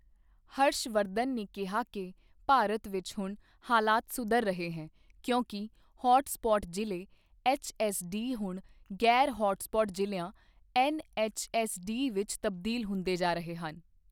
ਹਰਸ਼ ਵਰਧਨ ਨੇ ਕਿਹਾ ਕਿ ਭਾਰਤ ਵਿੱਚ ਹੁਣ ਹਾਲਤ ਸੁਧਰ ਰਹੀ ਹੈ ਕਿਉਂਕਿ ਹੌਟ ਸਪੌਟ ਜ਼ਿਲ੍ਹੇ ਐੱਚਐੱਸਡੀ ਹੁਣ ਗ਼ੈਰ ਹੌਟ ਸਪੌਟ ਜ਼ਿਲ੍ਹਿਆਂ ਐੱਨਐੱਚਐੱਸਡੀ ਵਿੱਚ ਤਬਦੀਲ ਹੁੰਦੇ ਜਾ ਰਹੇ ਹਨ।